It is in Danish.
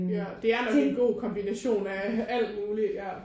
Ja det er nok en god kombination af alt muligt ja